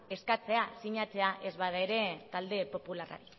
eskatzea sinatzea ez bada ere talde popularra